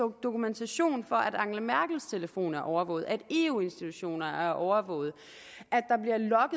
dokumentation for at angela merkels telefon er overvåget at eu institutioner er overvåget